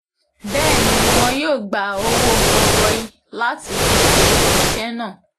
bẹ́ẹ̀ ni wọn yóò gba owó gọbọi láti fi ṣe iṣẹ́ náà